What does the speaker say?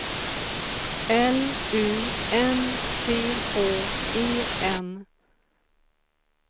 L U N C H E N